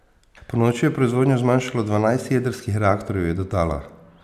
Ponoči je proizvodnjo zmanjšalo dvanajst jedrskih reaktorjev, je dodala.